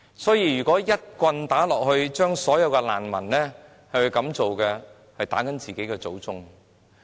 所以，若一棍打到所有難民身上，便等同打自己的祖宗。